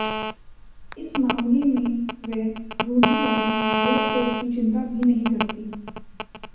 इस मामले में वे रुढि़वादी रोकटोक की चिंता भी नहीं करतीं